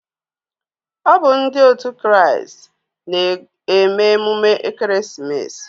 Ọ bu ndi òtù Christ n'eme emume Ekeresimesi